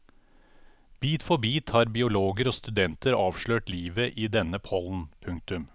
Bit for bit har biologer og studenter avslørt livet i denne pollen. punktum